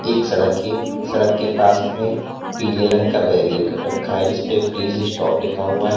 एक सड़क है सड़क के पास में पीले रंग का बेरियर कर रखा है जिस पे प्लीज स्टॉप लिखा हुआ है।